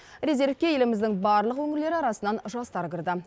резервке еліміздің барлық өңірлері арасынан жастар кірді